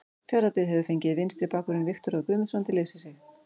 Fjarðabyggð hefur fengið vinstri bakvörðinn Viktor Örn Guðmundsson til liðs við sig.